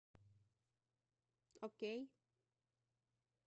окей